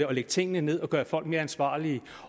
og lægge tingene ned og gøre folk mere ansvarlige